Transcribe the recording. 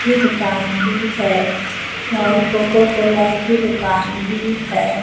ये दुकान भी है और कोकोकोला की दुकान भी है।